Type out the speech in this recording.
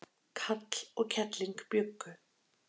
kall og kelling bjuggu